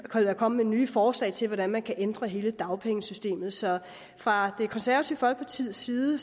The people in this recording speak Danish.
komme med nye forslag til hvordan man kan ændre hele dagpengesystemet så fra det konservative folkepartis side